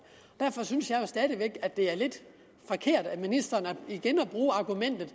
derfor synes jeg stadig væk at det er lidt forkert af ministeren igen at bruge argumentet